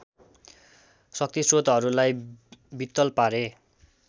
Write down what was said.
शक्तिश्रोतहरूलाई वित्तल पारे